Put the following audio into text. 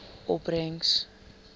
opbrengs